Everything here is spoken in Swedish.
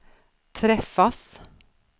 träffas